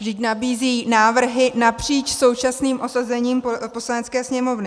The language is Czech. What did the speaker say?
Vždyť nabízí návrhy napříč současným osazením Poslanecké sněmovny.